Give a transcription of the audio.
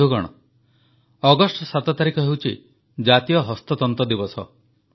ବନ୍ଧୁଗଣ ଅଗଷ୍ଟ 7 ତାରିଖ ହେଉଛି ଜାତୀୟ ହସ୍ତତନ୍ତ ଦିବସ